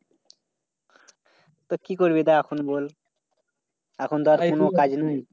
তা কি করবি তা এখন বল? এখন তো আর কোন কাজ নেই।